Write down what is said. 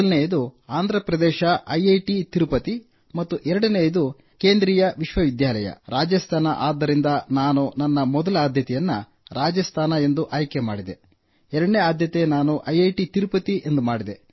ಮೊದಲನೆಯದು ಆಂಧ್ರಪ್ರದೇಶ ಐಐಟಿ ತಿರುಪತಿ ಮತ್ತು ಎರಡನೆಯದು ಕೇಂದ್ರೀಯ ವಿಶ್ವವಿದ್ಯಾಲಯ ರಾಜಸ್ಥಾನ ಆದ್ದರಿಂದ ನಾನು ನನ್ನ ಮೊದಲ ಆದ್ಯತೆಯನ್ನು ರಾಜಸ್ಥಾನ ಎಂದು ಆಯ್ಕೆಮಾಡಿದೆ ಎರಡನೇ ಆದ್ಯತೆ ನಾನು ಐಐಟಿ ತಿರುಪತಿ ಮಾಡಿದೆ